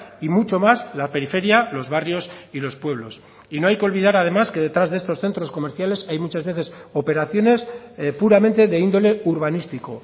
y mucho más la periferia los barrios y los pueblos y no hay que olvidar además que detrás de estos centros comerciales hay muchas veces operaciones puramente de índole urbanístico